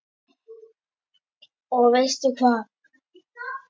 Og veistu hvað?